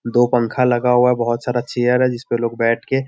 दो पंखा लगा हुआ है बहुत सारा चेयर है जिसपे लोग बैठ के --